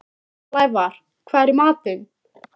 Blævar, hvað er í matinn?